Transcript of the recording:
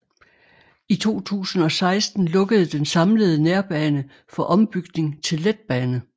I 2016 lukkede den samlede nærbane for ombygning til letbane